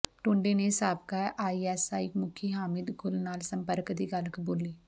ਟੁੰਡੇ ਨੇ ਸਾਬਕਾ ਆਈਐਸਆਈ ਮੁਖੀ ਹਾਮਿਦ ਗੁਲ ਨਾਲ ਸੰਪਰਕ ਦੀ ਗੱਲ ਕਬੂਲੀ